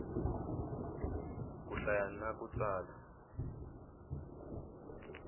ku hlaya na ku tsala